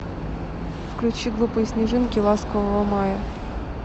включи глупые снежинки ласкового мая